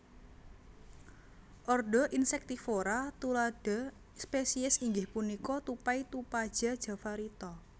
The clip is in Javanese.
Ordo Insectivora tuladha spesies inggih punika tupai tupaja javarita